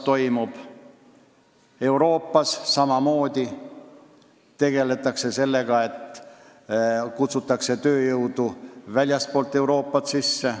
Euroopas tegeletakse samamoodi selle probleemiga ja kutsutakse väljastpoolt Euroopat tööjõudu sisse.